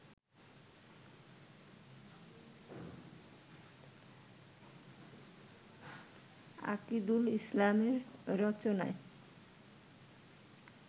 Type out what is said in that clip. আকিদুল ইসলামের রচনায়